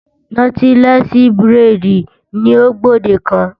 Nọ́tílẹ́ẹ̀sì buredì ni ó gbòdekan.